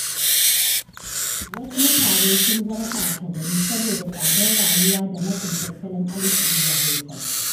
Wasu mutane sun zama ɓata gari saboda tsadar rayuwa da matsin tattalin arziƙi ya haifar.